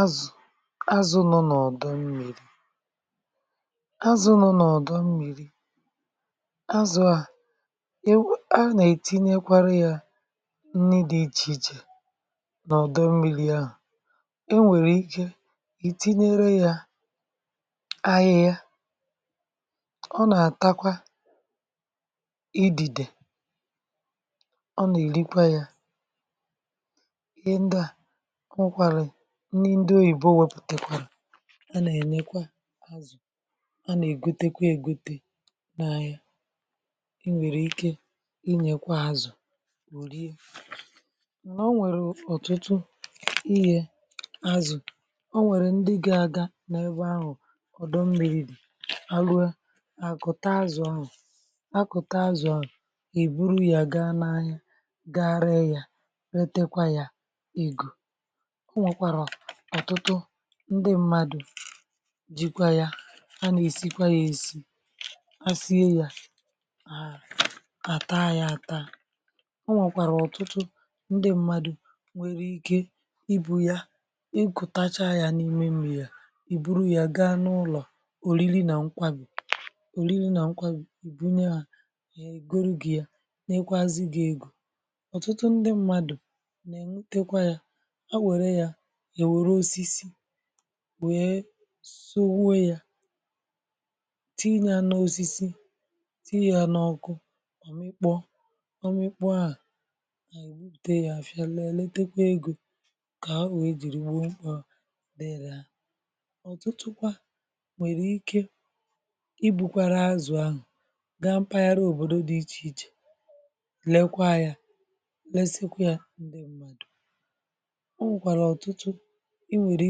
Azụ̀, azụ̀ nọ n’ọdọ mmiri̇. Azụ̀ nọ n’ọdọ mmiri̇, azụ̀ à(um)anà-ètinyekwara yȧ nni dị̇ ichè ichè n’ọdọ mmiri̇ ahụ̀. e nwèrè ike ì tinyere yȧ ahịhịa, ọ nà-àtakwa idìdè ọ nà-èrikwa yȧ, ihe ndị à, o nwekwara nni ndị oyìbo wepùtekwara a nà-ènyekwa azụ̀, a nà-ègote kwa ègote n’ahia, i nwèrè ike inyekwa azụ̀ orie, mànà o nwèrè ọ̀tụtụ ihė azụ̀ o nwèrè ndị ga- aga n’ebe ahụ ọ̀dọ mmiri dị̀, ha rụọe àkụ̀ta azụ̀ ahụ̀ àkụ̀ta azụ̀ ahụ̀ èburu yà ga n’ahịa, ga ree ya retekwa ya ego. O nwekwara ọ̀tụtụ ndị mmadụ̀ jikwa ya a nà-èsikwa ya èsi, asie ya, à taa ya àta, o nwekwàrà ọ̀tụtụ ndị mmadụ̀ nwèrè ike ibù ya ikùtacha ya n’ime mmiri a, ìbùrù ya gaa n’ụlọ̀ òriri nà nkwarì òriri nà nkwarì ibunye ya egoro gị ya, nyekwazị gị egȯ. Ọtụtụ ndị mmadụ̀ nà-ègbutekwa ya, ha were ya ha ewere osisi wee sowuo ya tii ya n'osisi tinye yȧ n’ọkụ òmịkpọ̇ òmịkpọ̇ ahụ̀ ha èbupute yȧ afịa lee letekwà egȯ kà ha wee jìri gboo mkpa dị̇ri ha. Ọtụtụkwa nwèrè ike i bùkwàrà azụ̀ ahụ̀ gaa mpaghara òbòdo dị̇ ichè ichè lekwa yȧ lesekwa yȧ ǹdị m̀madụ̀. O nwekwara ọtụtụ i nwere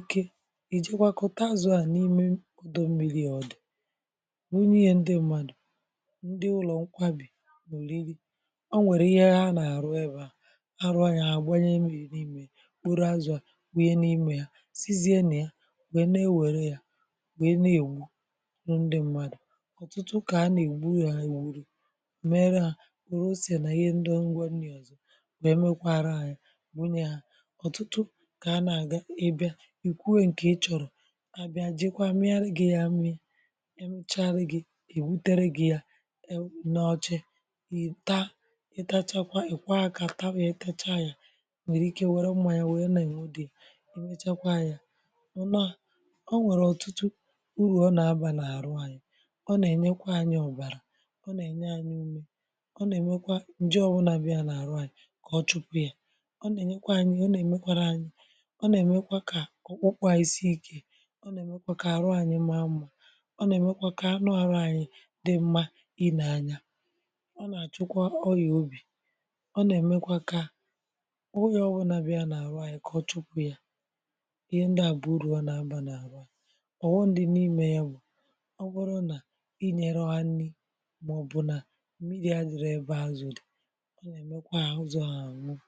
ike ijekwakuta azụ̀ à n’ime ọdọ mmiri è ọ̀ dị̀ bunye ya ndị mmadụ̀ ndị ụlọ̀ nkwabì oriri ọ nwèrè ihe ha nà-àrụ ebe à arụ yȧ àgbanye mmiri n’ime ya kporo azụ̀ à wunye n’imė yȧ sizie na ya wèe ne-ewere yȧ wèe na-ègburu ndị mmadụ̀, ọ̀tụtụ kà a nà-ègbu ru yȧ egbu̇ru mere hà wère ose nà ihe ndị ngwá nri ọ̀zọ wee mekwara hà yà bunye hà, ọtụtụ ka ana ga i bịa, ikwu e nke ị chọrọ, abịa ejikwaa miaru gị̇ ya ami̇a amechara gị̇ ebutere gị̇ ya n' oche ị taa i tachakwa ì kwoo aka taba ya itachakwa ya, ịnwère ike wère mmanya wère nà ènoda ya, e mechakwa yȧ, (ụm) o nwèrè ọtụtụ urù ọ nà abà n’àrụ anyị, ọ nà-ènyekwa anyị̇ ọ̀bàrà, ọ nà-ènye ȧnyị̇ umė, ọ nà-èmekwa ǹje ọbụnà bịa n' àrụ anyị̇ kà ọ chụpụ̇ ya, ọ nà-ènyekwa anyị̇ ọ nà-èmekwara anyị̇ ọ nà-èmekwa kà ọkpụkpụ anyị sie ike, ọ na-emekwa ka àrụ anyị maa mmȧ, ọ nà-èmekwa kà anu arụ ànyị dị mmȧ ị nee anya, ọ nà-àchụkwa ọyà òbì, ọ nà-èmekwa kà ọ ọbụnȧ bị̀a n’àrụ anyị̇ kà ọ chụpụ̇ yà, ihe ndị à bụ̀ urù ọ nà-abà n’àrụ anyị. Ọghọm dị n'ime ya bụ ọ̀bụrụ na ị nyero ha nni, maọbụ na mmiri adịrọ ebe azụ dị, ọ na-emekwa ha azụ ahụ anwụọ.